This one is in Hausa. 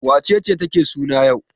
Wace ce take suna yau?